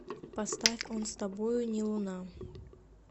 поставь он с тобою не луна